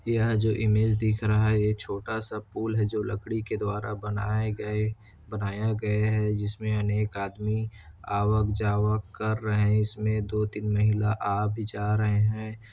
यहाँ जो इमेज दिख रहा है ये छोटा- सा पूल है जो लकड़ी के द्वारा बनाए गए बनाया गया है जिसमें अनेक आदमी आवक- जावक कर रहे है इसमें दो- तीन महिला आ भी जा रहे हैं।